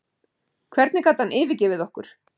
Hvernig gat hann yfirgefið okkur?